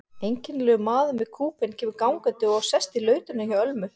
Einkennilegur maður með kúbein kemur gangandi og sest í lautina hjá Ölmu.